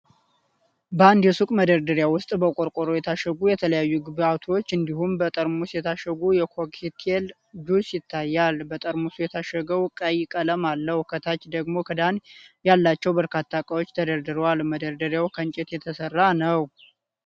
በአንድ የሱቅ መደርደርያ ውስጥ በቆርቆሮ የታሸጉ የተለያዩ ግብአቶች እንዲሁም በጠርሙስ የታሸገ የኮክቴል ጁስ ይታያል። በጠርሙስ የታሸገዉ ቀይ ቀለም አለው። ከታች ደግሞ ክዳን ያላቸው በርካታ ዕቃዎች ተደርድረዋል፣ መደርደሪያው ከእንጨት የተሰራ ነው።